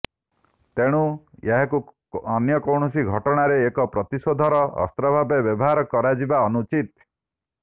ତେଣୁ ଏହାକୁ ଅନ୍ୟ କୌଣସି ଘଟଣାରେ ଏକ ପ୍ରତିଶୋଧର ଅସ୍ତ୍ରଭାବେ ବ୍ୟବହାର କରାଯିବା ଅନୁଚିତ